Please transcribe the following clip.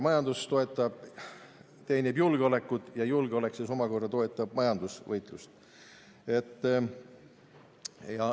Majandus teenib julgeolekut ja julgeolek omakorda toetab majandusvõitlust.